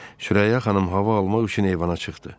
Sürəyya xanım hava almaq üçün eyvana çıxdı.